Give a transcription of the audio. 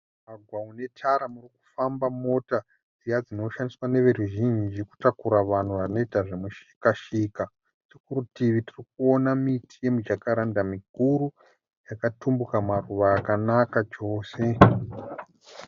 Mugwagwa munetara panofamba mota dziye dzinoshandiswa neveruzhinji kutakura vanhu vanoita zvemushikashika . Kurutivi tirikunona miti ye mijacaranda mikuru. Yakatumbuka maruva akanaka chose.